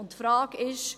Die Frage ist: